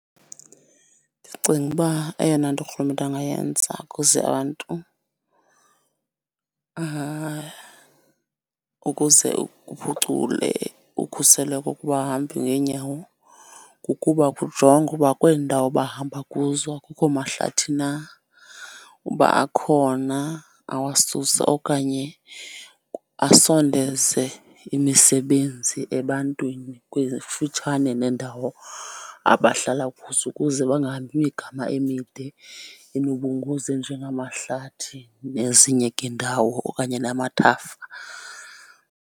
Ndicinga uba eyona nto urhulumente angayenza kuze abantu ukuze kuphucule ukhuseleko kubahambi ngeenyawo kukuba kujongwe ukuba kwezi ndawo bahamba kuzo akukho mahlathi na. Uba akhona awasuse okanye asondeze imisebenzi ebantwini kufutshane neendawo abahlala kuzo ukuze bangahambi imigama emide enobungozi enje ngamahlathi nezinye ke indawo okanye namathafa.